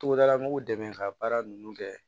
Togodala mɔgɔw dɛmɛ ka baara ninnu kɛ